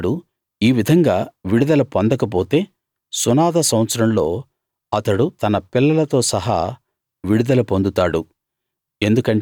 అతడు ఈ విధంగా విడుదల పొందకపోతే సునాద సంవత్సరంలో అతడు తన పిల్లలతో సహా విడుదల పొందుతాడు